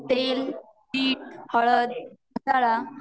तेल, मीठ, हळद मसाला,